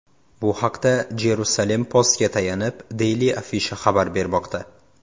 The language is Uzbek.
Bu haqda Jerusalem Post’ga tayanib, Daily Afisha xabar bermoqda .